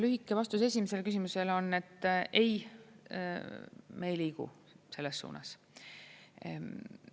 Lühike vastus esimesele küsimusele on: ei, me ei liigu selles suunas.